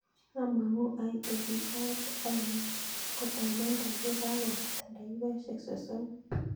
Amangu ait ofis sait ainon kotamandaa ye ka kopata dakikosyek sosomu